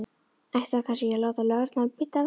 Ætti hann kannski að láta lögregluna vita af sér?